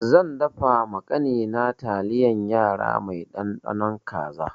Zan dafa ma ƙani na taliyan yara mai ɗanɗanon kaza.